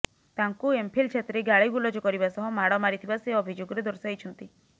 ତାଙ୍କୁ ଏମ୍ଫିଲ ଛାତ୍ରୀ ଗାଳିଗୁଲଜ କରିବା ସହ ମାଡ଼ ମାରିଥିବା ସେ ଅଭିଯୋଗେର ଦର୍ଶାଇଛନ୍ତି